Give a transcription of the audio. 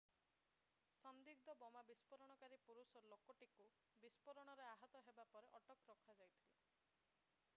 ସନ୍ଦିଗ୍ଧ ବୋମା ବିସ୍ଫୋରଣକାରୀ ପୁରୁଷ ଲୋକଟିକୁ ବିସ୍ଫୋରଣରେ ଆହତ ହେବା ପରେ ଅଟକ ରଖାଯାଇଥିଲା